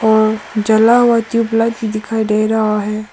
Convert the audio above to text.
और जला हुआ ट्यूबलाइट भी दिखाई दे रहा है।